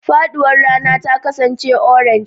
Faɗuwar rana ta kasance orange.